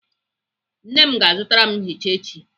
Nna m ga-azụtara m nchicha echi.